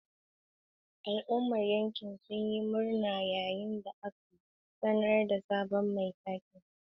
Al'ummar yankin sun yi murna yayin da aka sanar da sabon mai taken.